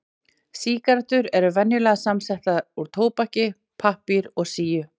Sígarettur eru venjulega samsettar úr tóbaki, pappír og síu.